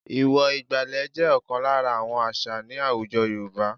Ìwọ̀ ìgbàlẹ̀ jẹ́ ọ̀kan lára àwọn àṣà ní àwùjọ Yorùba h